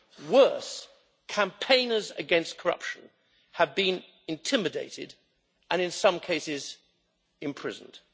Worse, campaigners against corruption have been intimidated and, in some cases, imprisoned.